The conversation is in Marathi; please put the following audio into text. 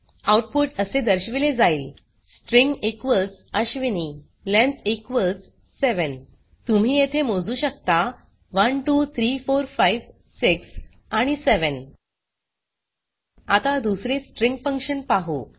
आउटपुट असे दर्शविले जाईल स्ट्रिंग अश्विनी लेंग्थ 7 तुम्ही येथे मोजू शकता 123456 आणि 7 आता दुसरे स्ट्रिंग फंक्शन पाहु